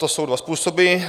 To jsou dva způsoby.